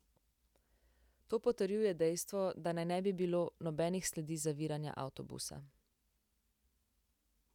To potrjuje dejstvo, da naj ne bi bilo nobenih sledi zaviranja avtobusa.